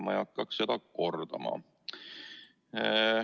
Ma ei hakkaks seda kordama.